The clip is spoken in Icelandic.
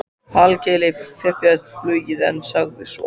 Hallkeli fipaðist flugið en sagði svo